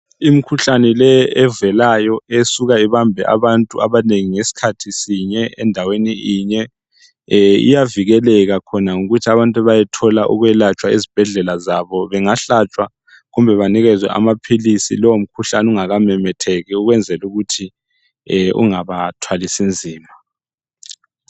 Imkhuhlane leyi evelayo esuka ibambe abantu abanengi ngesikhathi sinye endaweni inye iyavikeleka khona ngokuthi abantu bayalatshwa ezibhedlela zabo. Bangahlatshwa kumbe banikezwe amaphilisi lowo mkhuhlane ungakamemetheki ukwenzela ukuthi ungabathwalisi nzima.